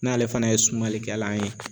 N'ale fana ye sumalikɛlan ye.